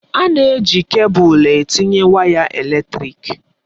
A na-eji kebụl etinye waya eletrịk.